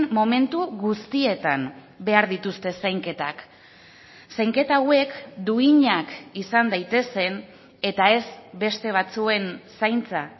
momentu guztietan behar dituzte zainketak zainketa hauek duinak izan daitezen eta ez beste batzuen zaintza